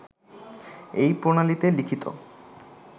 এই প্রণালীতে লিখিত